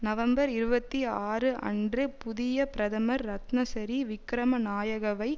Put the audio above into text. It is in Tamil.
நவம்பர் இருபத்தி ஆறு அன்று புதிய பிரதமர் ரட்னசரி விக்கிரமநாயகவை